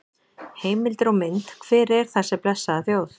Heimildir og mynd: Hver er þessi blessaða þjóð?